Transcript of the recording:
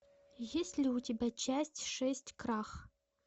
есть ли у тебя часть шесть крах